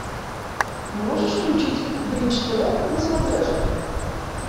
можешь включить бридж тв на смотрешке